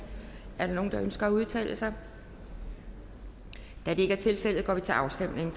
er der nogen der ønsker at udtale sig da det ikke er tilfældet går vi til afstemning